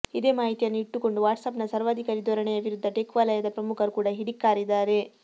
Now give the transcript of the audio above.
ಇದೇ ಮಾಹಿತಿಯನ್ನು ಇಟ್ಟುಕೊಂಡು ವಾಟ್ಸಾಪ್ನ ಸರ್ವಾಧಿಕಾರಿ ದೊರಣೆಯ ವಿರುದ್ದ ಟೆಕ್ ವಲಯದ ಪ್ರಮುಖರು ಕೂಡ ಕಿಡಿಕಾರಿದ್ದಾರೆ